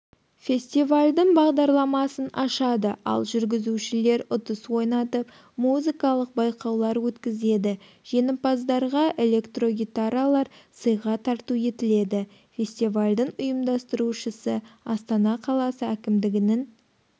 фестивальдің бағдарламасын ашады ал жүргізушілер ұтыс ойнатып музыкалық байқаулар өткізеді жеңімпаздарға электрогитаралар сыйға тарту етіледі фестивальдің ұйымдастырушысы астана қаласы әкімдігінің